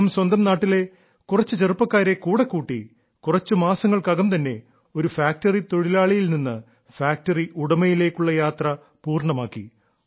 അദ്ദേഹം സ്വന്തം നാട്ടിലെ കുറച്ചു ചെറുപ്പക്കാരെ കൂടെ കൂട്ടി കുറച്ചു മാസങ്ങൾക്കകം തന്നെ ഒരു ഫാക്ടറി തൊഴിലാളിയിൽ നിന്ന് ഫാക്ടറി ഉടമയിലേക്കുള്ള യാത്ര പൂർണ്ണമാക്കി